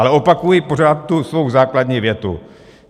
Ale opakuji pořád tu svou základní větu.